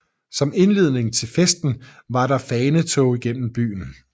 Som indledning til festen er der fanetog gennem byen